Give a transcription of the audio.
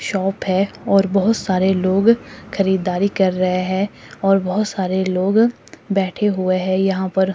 Shop हैं और बहुत सारे लोग खरीदारी कर रहे है और बहोत सारे लोग बैठे हुए हैं यहां पर।